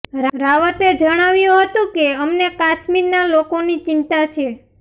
રાવતે જણાવ્યું હતું કે અમને કાશ્મીરના લોકોની ચિંતા છે